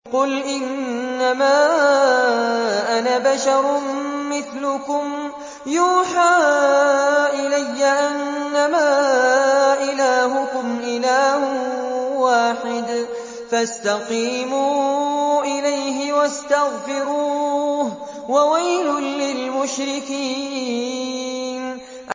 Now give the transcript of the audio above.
قُلْ إِنَّمَا أَنَا بَشَرٌ مِّثْلُكُمْ يُوحَىٰ إِلَيَّ أَنَّمَا إِلَٰهُكُمْ إِلَٰهٌ وَاحِدٌ فَاسْتَقِيمُوا إِلَيْهِ وَاسْتَغْفِرُوهُ ۗ وَوَيْلٌ لِّلْمُشْرِكِينَ